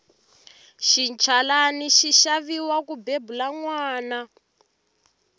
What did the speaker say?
xinchalani xi xaviwa ku bebula nwana